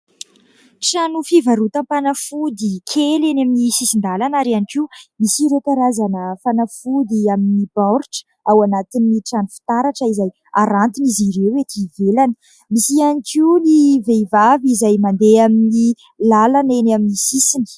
Trano fivarotam-panafody kely eny amin'ny sisin-dalana ary ihany koa misy ireo karazana fanafody amin'ny baoritra ao anatin'ny trano fitaratra izay harantin'izy ireo ety ivelany, misy ihany koa ny vehivavy izay mandeha amin'ny lalana eny amin'ny sisiny.